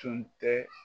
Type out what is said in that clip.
Tun tɛ